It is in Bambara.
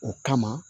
O kama